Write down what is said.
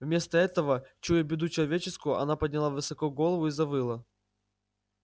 вместо этого чуя беду человеческую она подняла высоко голову и завыла